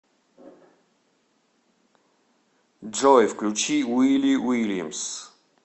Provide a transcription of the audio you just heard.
джой включи вилли вильямс